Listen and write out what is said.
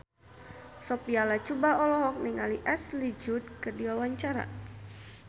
Sophia Latjuba olohok ningali Ashley Judd keur diwawancara